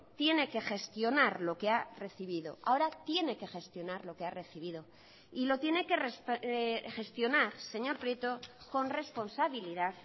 tiene que gestionar lo que ha recibido ahora tiene que gestionar lo que ha recibido y lo tiene que gestionar señor prieto con responsabilidad